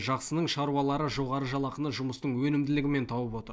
жақсының шаруалары жоғары жалақыны жұмыстың өнімділігімен тауып отыр